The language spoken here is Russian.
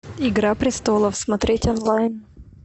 игра престолов смотреть онлайн